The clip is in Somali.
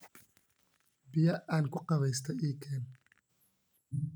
Biyaa aan kuqubeysta ii keen